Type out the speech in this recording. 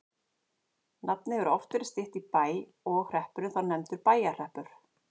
Nafnið hefur oft verið stytt í Bæ og hreppurinn þá nefndur Bæjarhreppur.